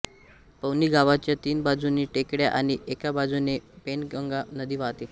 पवनी गावाच्या तीन बाजूनी टेकड्या आणि एका बाजूने वैनगंगा नदी वाहते